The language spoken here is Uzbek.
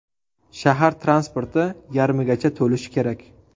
Shahar transporti yarmigacha to‘lishi kerak.